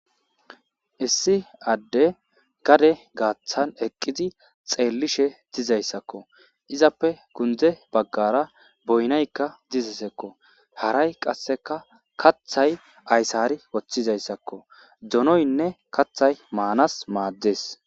Issi adde gade gaaththan eqqizi xeellishe dizayssakko izappe kundze baggara boynaykka dizasekko haray qasseka kathay ayssari woththizayssakko donoynne kaththay maanas maaddees